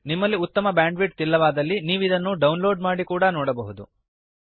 ನಿಮ್ಮಲ್ಲಿ ಉತ್ತಮ ಬ್ಯಾಂಡ್ವಿಡ್ಥ್ ಇಲ್ಲವಾದಲ್ಲಿ ನೀವಿದನ್ನು ಡೌನ್ಲೋಡ್ ಮಾಡಿ ಕೂಡಾ ನೋಡಬಹುದು